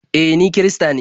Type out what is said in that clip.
E, ni kirista ne.